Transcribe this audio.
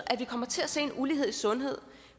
at vi kommer til at se en ulighed i sundhed